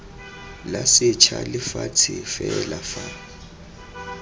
la setsha lefatshe fela fa